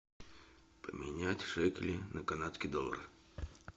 поменять шекели на канадские доллары